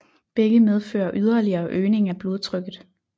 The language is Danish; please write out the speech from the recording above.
Begge medfører yderligere øgning af blodtrykket